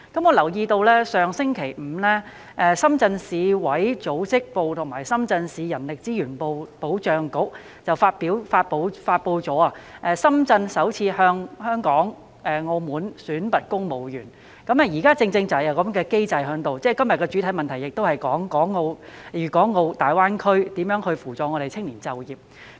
我留意到，上星期五，深圳市委組織部及深圳市人力資源保障局發布了深圳首次向香港、澳門選拔公務員，現時正正是有這個機制，而這項主體質詢亦關乎如何協助青年在大灣區就業。